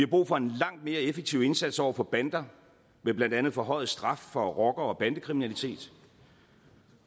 brug for en langt mere effektiv indsats over for bander med blandt andet forhøjet straf for rocker og bandekriminalitet